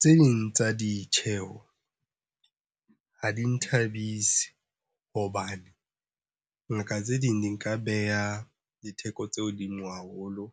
Tse ding tsa ditjheho ha di nthabise hobane ngaka tse ding di nka beha ditheko tse hodimo haholo.